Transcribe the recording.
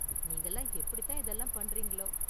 நீங்க எல்லாம் எப்படித்தான் இதெல்லாம் பண்றீங்களோ?